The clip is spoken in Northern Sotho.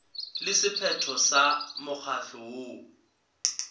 le sephetho sa mokgatlo woo